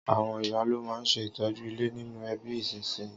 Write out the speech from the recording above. Àwon ìyá lo ma n se ìtọ́jú ilé nínú ẹbí ìsínsinyì